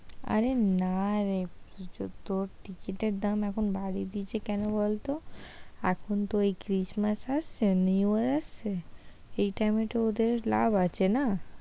আরে না রে কিছু তোর টিকিটের দাম এখন তোর বাড়িয়ে দিয়েছে কেন বলত এখন তো ওই christmass আসছে new year আসছে এই টাইমে তো ওদের লাভ আছে না, "